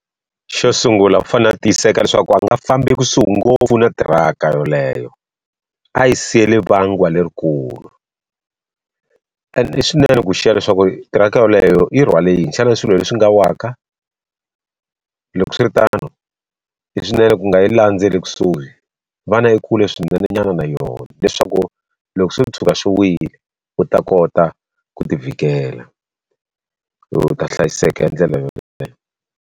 Xo sungula u fanele a tiyiseka leswaku a nga fambi ekusuhi ngopfu na tiraka yoleyo a yi siyile vangiwa lerikulu and i swinene ku xiya leswaku tiraka yoleyo yi rhwale yini xana swilo leswi nga waka loko swiritano i swinene ku nga yi landzeli kusuhi va na ekule swinene nyana na yona leswaku loko swo tshuka swi wile u ta kota ku ti vhikela u ta hlayiseka hi ndlela yoleyo.